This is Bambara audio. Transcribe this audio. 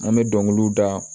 An bɛ dɔnkiliw da